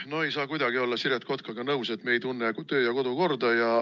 Ma ei saa kuidagi Siret Kotkaga nõus olla, et me ei tunne kodu- ja töökorda.